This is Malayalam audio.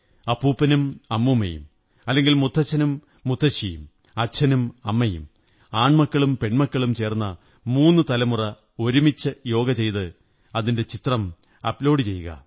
അപ്പൂപ്പനും അമ്മൂമ്മയും അല്ലെങ്കിൽ മുത്തച്ഛനും മുത്തശ്ശിയും അച്ഛനും അമ്മയും ആണ്മൂക്കളും പെണ്മലക്കളും ചേര്ന്നണ മൂന്നു തലമുറ ഒരുമിച്ച് യോഗ ചെയ്ത് അതിന്റെ ചിത്രം അപ്ലോഡു ചെയ്യുക